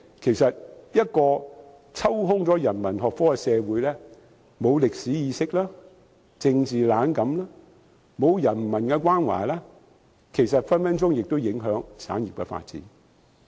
然而，一個欠缺人文學科的社會會沒有歷史意識，政治冷感，沒有人文關懷，亦很可能影響產業的發展。